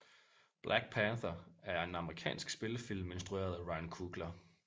Black Panther er en amerikansk spillefilm instrueret af Ryan Coogler